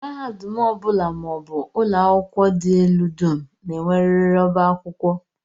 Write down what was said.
Mahadum ọ bụla maọbụ ụlọakwụkwọ dị elu dum na-enwerịrị ọbá akwụkwọ